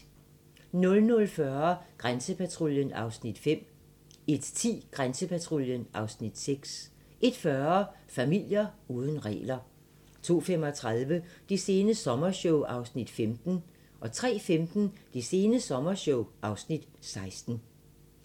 00:40: Grænsepatruljen (Afs. 5) 01:10: Grænsepatruljen (Afs. 6) 01:40: Familier uden regler 02:35: Det sene sommershow (Afs. 15) 03:15: Det sene sommershow (Afs. 16)